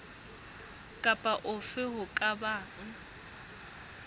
kapa hofe ho ka bang